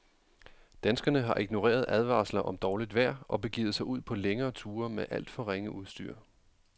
Danskerne har ignoreret advarsler om dårligt vejr og begivet sig ud på længere ture med alt for ringe udstyr.